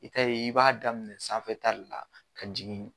I ta ye i b'a daminɛ sanfɛta de la ka jigin